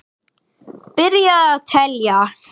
Byrjið að telja.